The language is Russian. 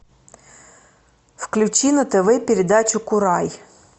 включи на тв передачу курай